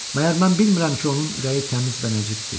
Məgər mən bilmirəm ki, onun ürəyi təmiz və nəcibdir?